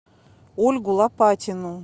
ольгу лопатину